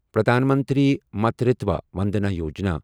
Pradhan Mantri Matritva Vandana Yojana